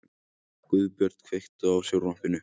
Guðbjörn, kveiktu á sjónvarpinu.